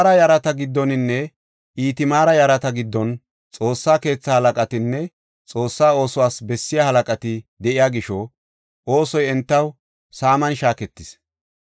Alaazara yarata giddoninne Itamaara yarata giddon Xoossa keetha halaqatinne Xoossa oosuwas bessiya halaqati de7iya gisho oosoy entaw saaman shaaketees.